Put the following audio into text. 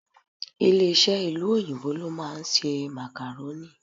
Ilé-iṣẹ́ ìlú òyìnbó ló ń ṣe Macarorni